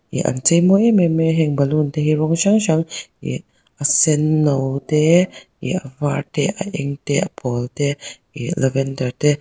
ih an chei mawi em em mai a heng balloon te hi rawng hrang hrang ih a senno te ih a var te a eng te a pawl te ih lavender te--